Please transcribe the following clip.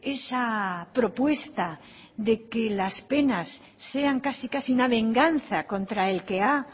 esa propuesta de que las penas sean casi casi una venganza contra el que ha